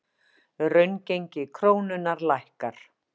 Raungengi krónunnar lækkar